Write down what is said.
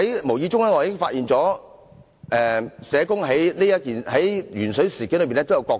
無意中，我發現社工在鉛水事件中亦有其角色。